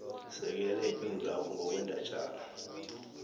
sekela ipendulwakho ngokwendatjana